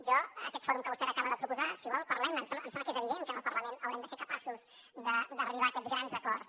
jo d’aquest fòrum que vostè ara acaba de proposar si vol parlem ne em sembla que és evident que en el parlament haurem de ser capaços d’arribar a aquests grans acords